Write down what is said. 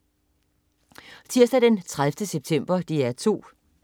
Tirsdag den 30. september - DR 2: